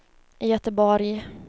Göteborg